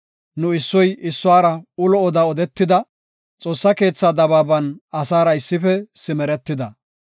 Nu issoy issuwara ulo oda odetida; Xoossa keethan dabaaban asaara issife simeretida.